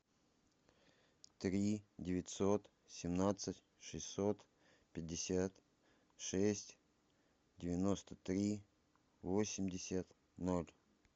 три девятьсот семнадцать шестьсот пятьдесят шесть девяносто три восемьдесят ноль